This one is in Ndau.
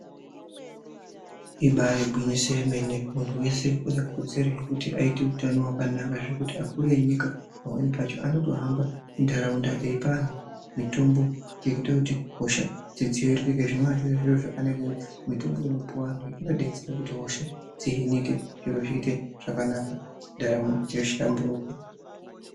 Ibari gwinyiso yemene, muntu wese une kodzero yekuti aite utano hwakanaka zvekuti akuru enyika pamweni pacho anotohamba muntaraunda eipa antu mitombo yekuita kuti hosha dzidziviririke zvinova zviri zviro zvakanaka. Mitombo inopuwa antu iyi inodetsera kuti hosha dzihinike zviro zviite zvakanaka, ndaramo yohlamburuka.